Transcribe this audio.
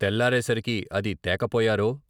తెల్లారేసరికి అది తేకపోయారో..